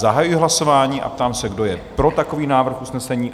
Zahajuji hlasování a ptám se, kdo je pro takový návrh usnesení?